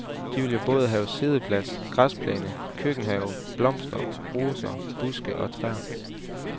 De vil jo både have siddeplads, græsplæne, køkkenhave, blomster, roser, buske og træer.